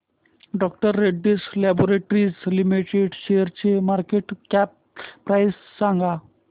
डॉ Reddy's laboratories limited शेअरची market cap price सांगा